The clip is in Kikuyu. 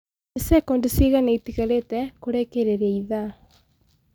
ni sekondi cĩĩgana itigarite kurikiriria ithaa